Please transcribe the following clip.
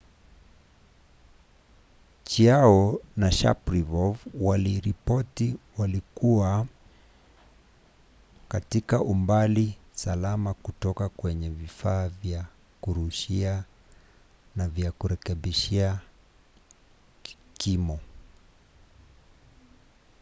chiao na sharipov waliripoti walikuwa katika umbali salama kutoka kwenye vifaa vya kurushia vya kurekebisha kimo